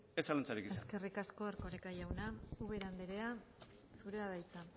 ez zalantzarik egin eskerrik asko erkoreka jauna ubera andrea zurea da hitza